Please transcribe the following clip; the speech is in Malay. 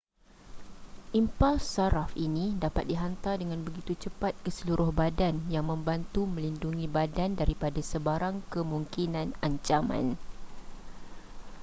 impuls saraf ini dapat dihantar dengan begitu cepat ke seluruh badan yang membantu melindungi badan daripada sebarang kemungkinan ancaman